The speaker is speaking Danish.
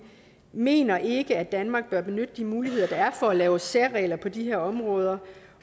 mener ikke at danmark bør benytte de muligheder der er for at lave særregler på de her områder